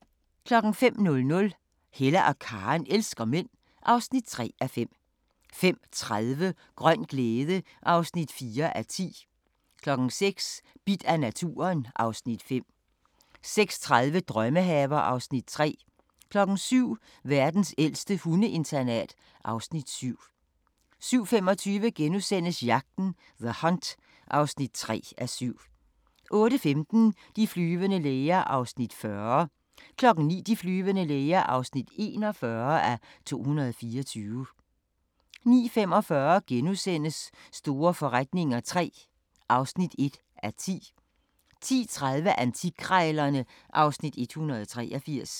05:00: Hella og Karen elsker mænd (3:5) 05:30: Grøn glæde (4:10) 06:00: Bidt af naturen (Afs. 5) 06:30: Drømmehaver (Afs. 3) 07:00: Verdens ældste hundeinternat (Afs. 7) 07:25: Jagten – The Hunt (3:7)* 08:15: De flyvende læger (40:224) 09:00: De flyvende læger (41:224) 09:45: Store forretninger III (1:10)* 10:30: Antikkrejlerne (Afs. 183)